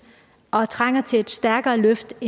og trænger til et stærkere løft